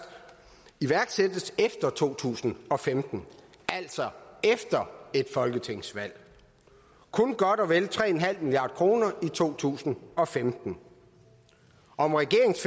iværksættes efter to tusind og femten altså efter et folketingsvalg kun godt og vel tre milliard kroner i to tusind og femten om regeringens